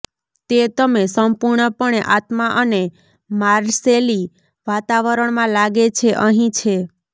તે તમે સંપૂર્ણપણે આત્મા અને માર્સેલી વાતાવરણમાં લાગે છે અહીં છે